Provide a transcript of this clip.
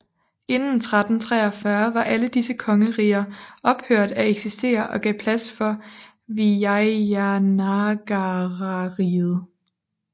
Inden 1343 var alle disse kongeriger ophørt at eksistere og gav plads for Vijayanagarariget